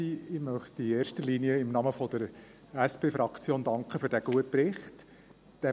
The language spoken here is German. Ich möchte in erster Linie im Namen der SP-Fraktion für diesen guten Bericht danken.